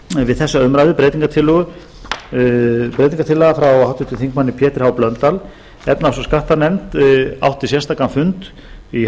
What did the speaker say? við þessa umræðu breytingartillaga frá háttvirtum þingmanni pétri h blöndal efnahags og skattanefnd átti sérstakan fund í